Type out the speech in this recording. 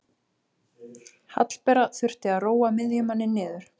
Hallbera þurfti að róa miðjumanninn niður.